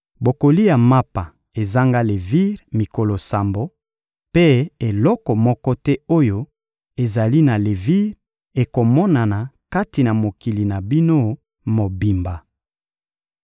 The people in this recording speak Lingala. Bokolia mapa ezanga levire mikolo sambo, mpe eloko moko te oyo ezali na levire ekomonana kati na mokili na bino mobimba.